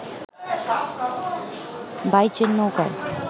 বাইচের নৌকায়